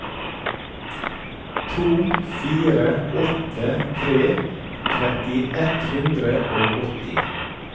to fire åtte tre tretti ett hundre og åtti